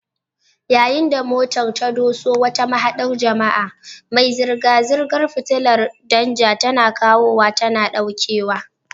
Yayin da motar ta doso wata mahaɗar jama'a, mai zirga-zirgar fitilar danja tana kawowa tana ɗaukewa.